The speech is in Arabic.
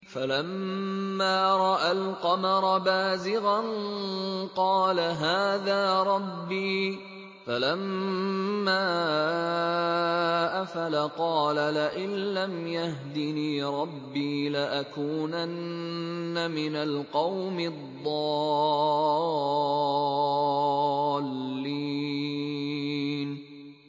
فَلَمَّا رَأَى الْقَمَرَ بَازِغًا قَالَ هَٰذَا رَبِّي ۖ فَلَمَّا أَفَلَ قَالَ لَئِن لَّمْ يَهْدِنِي رَبِّي لَأَكُونَنَّ مِنَ الْقَوْمِ الضَّالِّينَ